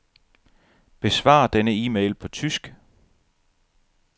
Besvar denne e-mail på tysk.